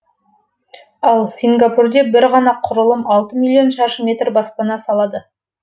ал сингапурде бір ғана құрылым алты миллион шаршы метр баспана салады